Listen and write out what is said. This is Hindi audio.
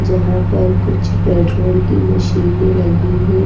जहां पर कुछ पेट्रोल की मशीनें लगी हैं।